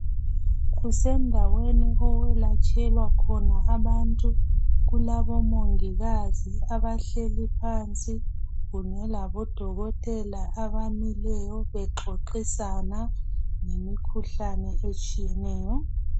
Kusendaweni okwelatshelwa khona abantu. Kulabomongikazi abahleli phansi kunye labodokotela abamileyo bexoxisana ngemikhuhlane etshiyeneyo